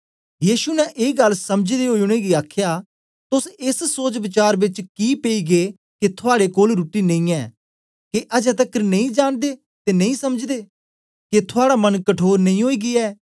यीशु ने ए गल्ल समझदे ओई उनेंगी आखया तोस एस सोचवचार बेच कि पेई गै के थुआड़े कोल रुट्टी नेई ऐ के अजें तकर नेई जानदे ते नेई समझदे के थुआड़ा मन कठोर नेई ओई गीया ऐ